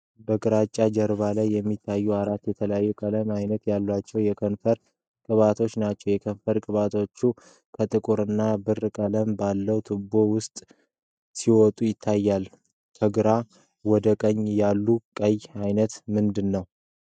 በግራጫ ጀርባ ላይ የሚታዩት አራት የተለያዩ የቀለም አይነቶች ያላቸው የከንፈር ቅባቶች ናቸው። የከንፈር ቅባቶቹ ከጥቁር እና ብር ቀለም ባለው ቱቦ ውስጥ ሲወጡ ይታያሉ። ከግራ ወደ ቀኝ ያሉት የቀለም አይነቶች ምንድን ናቸው?